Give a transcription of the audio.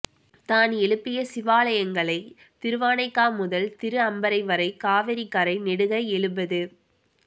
தான் எழுப்பிய சிவாலயங்களை திருவானைக்கா முதல் திரு அம்பர்வரை காவிரிக்கரை நெடுக எழுபது